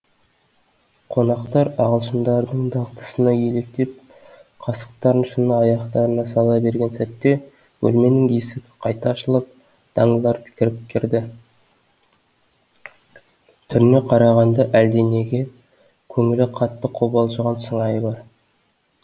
қонақтар ағылшындардың дағдысына еліктеп қасықтарын шыны аяқтарына сала берген сәтте бөлменің есігі қайта ашылып данглар кіріп кірді түріне қарағанда әлденеге көңілі қатты қобалжыған сыңайы бар